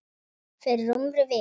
Fyrir rúmri viku.